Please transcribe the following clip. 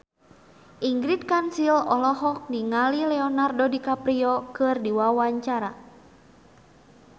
Ingrid Kansil olohok ningali Leonardo DiCaprio keur diwawancara